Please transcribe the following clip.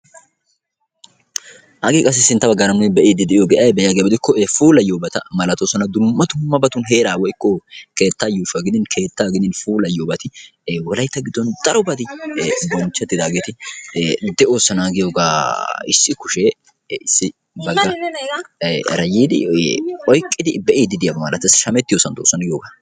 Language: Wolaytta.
hagee qassi sinttabaa gaaramui be'iiddi de'iyo ge'ai be'iyaagiyaabi dikko e puulayyoobata malatoosana. dumma dumabatun heeraa woykko keettaa yuushuaa gidin keettaa gidin puulayyoobati wolaitta giddon daro badi bonchchattidaageeti de'oosana. giyoogaa issi kushee issi bagga rayiidi oiqqidi be'iidi diyaaba malatassi shamettiyo santtoosana giyoogaa.